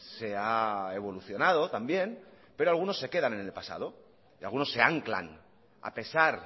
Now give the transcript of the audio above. se ha evolucionado también pero algunos se quedan en el pasado y algunos se anclan a pesar